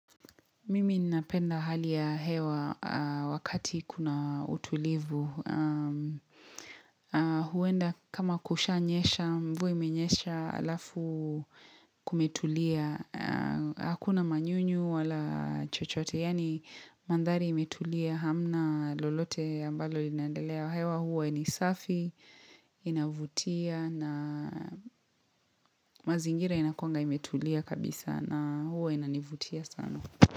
Mimi napenda hali ya hewa wakati kuna utulivu. Huenda kama kushanyesha, mvua imenyesha alafu kumetulia. Hakuna manyunyu wala chochote. Yani mandhari imetulia hamna lolote ambalo linandelea. Hewa huwa ni safi, inavutia na mazingira inakuwanga imetulia kabisa na huwa inanivutia sana.